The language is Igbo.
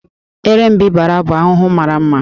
Erembịbara bụ ahụhụ mara mma